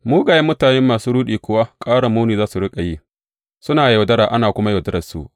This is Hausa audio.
Mugayen mutane da masu ruɗi kuwa, ƙara muni za su riƙa yi, suna yaudara, ana kuma yaudararsu.